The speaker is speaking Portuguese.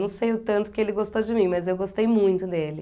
Não sei o tanto que ele gostou de mim, mas eu gostei muito dele.